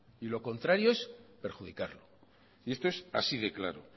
y lo contrario es perjudicarlo y esto es así de claro